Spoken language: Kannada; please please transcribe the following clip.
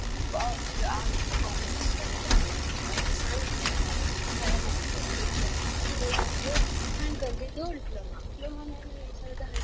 ಒಬ್ಬ್ರ Arts Commerce ತಗೊತಾರ Science ತಗೋತಾರೆ Paramedical Diploma ಇನ್ನೊಂದ್ ಐತಿ ನಾನ್ ಕಲತದ್ದು Diploma Diploma ನಾನು ಎರ್ಡ್ ಸಾವಿರ್ದಾ ಹದ್ನೆಂಟ್ರಲ್ಲಿ.